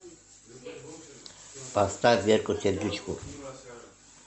поставь верку сердючку